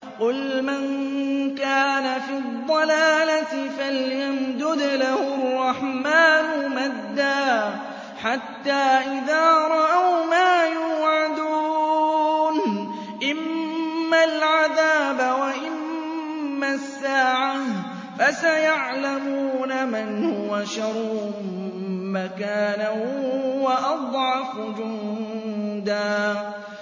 قُلْ مَن كَانَ فِي الضَّلَالَةِ فَلْيَمْدُدْ لَهُ الرَّحْمَٰنُ مَدًّا ۚ حَتَّىٰ إِذَا رَأَوْا مَا يُوعَدُونَ إِمَّا الْعَذَابَ وَإِمَّا السَّاعَةَ فَسَيَعْلَمُونَ مَنْ هُوَ شَرٌّ مَّكَانًا وَأَضْعَفُ جُندًا